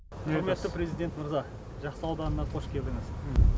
құрметті президент мырза жақсы ауданына қош келдіңіз